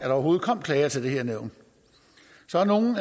overhovedet kom klager til det her nævn så har nogle